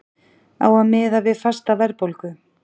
Á að miða við fasta verðbólgu?